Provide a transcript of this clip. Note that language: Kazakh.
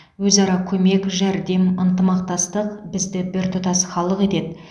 өзара көмек жәрдем ынтымақтастық бізді біртұтас халық етеді